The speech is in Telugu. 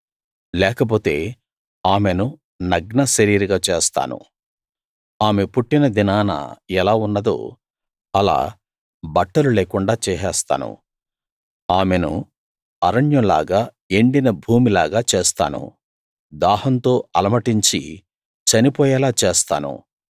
లేకపోతే ఆమెను నగ్న శరీరిగా చేస్తాను ఆమె పుట్టిన దినాన ఎలా ఉన్నదో అలా బట్టలు లేకుండా చేసేస్తాను ఆమెను అరణ్యంలాగా ఎండిన భూమిలాగా చేస్తాను దాహంతో అలమటించి చనిపోయేలా చేస్తాను